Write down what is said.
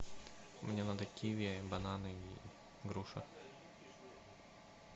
мне надо киви бананы и груша